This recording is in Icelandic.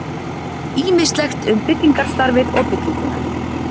Ýmislegt um byggingarstarfið og bygginguna.